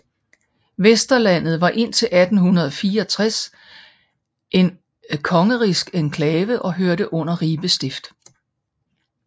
Vesterlandet var indtil 1864 en kongerigsk enklave og hørte under Ribe Stift